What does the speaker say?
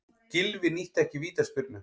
Gylfi nýtti ekki vítaspyrnu